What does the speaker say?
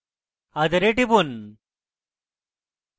other এ টিপুন